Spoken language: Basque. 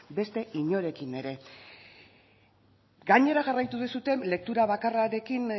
beste inorekin ere gainera jarraitu duzue lektura bakarrarekin